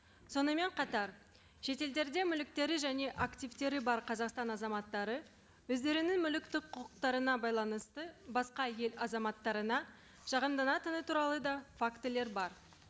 сонымен қатар шетелдерде мүліктері және активтері бар қазақстан азаматтары өздерінің мүліктік құқықтарына байланысты басқа ел азаматтарына шағымданатыны туралы да фактілер бар